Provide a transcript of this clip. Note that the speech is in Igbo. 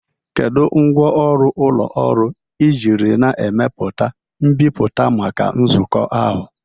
Kedu ngwaọrụ ụlọ ọrụ ị jiri na-emepụta mbipụta maka nzukọ ahụ?